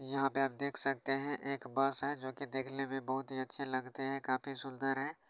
यहाँ पे आप देख सकते हैं। एक बस है जो कि देखने में बहोत ही अच्छी लगती है काफी सुंदर है।